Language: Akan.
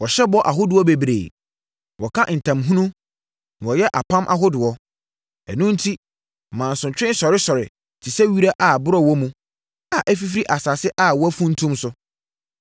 Wɔhyɛ bɔ ahodoɔ bebree, Wɔka ntam hunu na wɔyɛ apam ahodoɔ; ɛno enti mansotwe sɔresɔre te sɛ wira a borɔ wɔ mu a afifiri asase a wɔafuntum so.